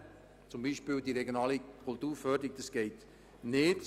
So ist dies beispielsweise bei der regionalen Kulturförderung nicht möglich.